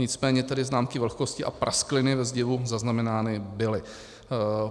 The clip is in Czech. Nicméně tedy známky vlhkosti a praskliny ve zdivu zaznamenány byly.